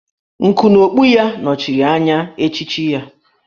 Nku n'okpu ya nọchiri anya echichi ya